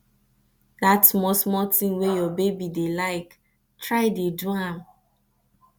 dat smal smal tin wey yur baby dey lyk try dey do am